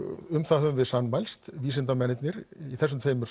um það höfum við sammælst vísindamennirnir í þessum tveimur